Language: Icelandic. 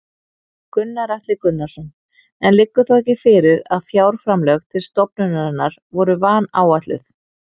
Gunnar Atli Gunnarsson: En liggur þá ekki fyrir að fjárframlög til stofnunarinnar voru vanáætluð?